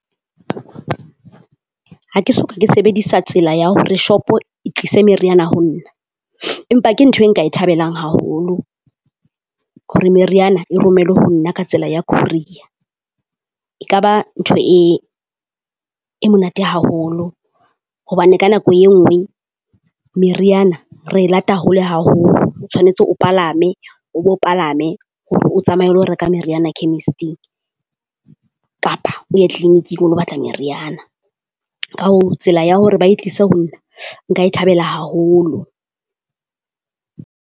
Ha ke soka ke sebedisa tsela ya hore shop-o e tlise meriana ho nna, empa ke ntho e nka e thabelang haholo hore meriana e romelwe ho nna ka tsela ya courier. E ka ba ntho e e monate haholo hobane ka nako e nngwe meriana re e lata hole haholo. O tshwanetse o palame, o bo palame hore o tsamaye o lo reka meriana chemist-ing kapa o ye clinic-ing o lo batla meriana. ka hoo tsela ya hore ba e tlise ho nna, nka e thabela haholo.